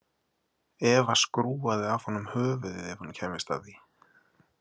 Eva skrúfaði af honum höfuðið ef hún kæmist að því.